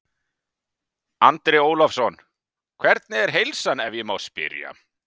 Andri Ólafsson: Hvernig er heilsan ef ég má spyrja?